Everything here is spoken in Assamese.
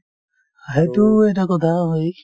সেইটোও এটা কথা হয়